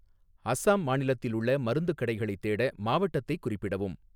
அசாம் மாநிலத்தில் உள்ள மருந்துக் கடைகளைத் தேட, மாவட்டத்தைக் குறிப்பிடவும்